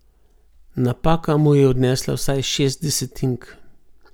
Napaka mu je odnesla vsaj šest desetink.